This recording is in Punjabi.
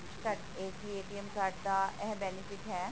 ਪਰ ਇਹ ਹੈ ਕਿ card ਦਾ ਇਹ benefit ਹੈ